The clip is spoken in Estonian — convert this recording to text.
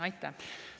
Aitäh!